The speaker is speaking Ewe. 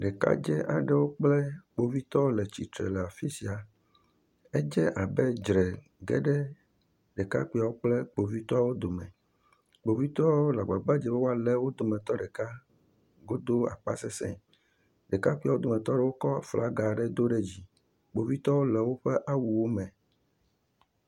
Ɖekadzɛ aɖe kple kpovitɔwo le titre le afi sia edze abe dzra geɖe ɖekakpuiwo kple kpovitɔwo dome kpovitɔwo le gbagbadzem be woale wodometɔ ɖeka godo asese ɖekakpui wodometɔ aɖe kɔ aflagawo do ɖe dzi kpovitɔwo le woƒe awuwo me